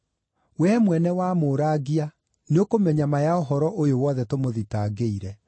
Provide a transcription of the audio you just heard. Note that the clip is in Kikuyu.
Wee mwene wamũũrangia nĩũkũmenya ma ya ũhoro ũyũ wothe tũmũthitangĩire.”